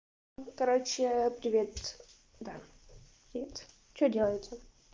короче привет да привет что делаете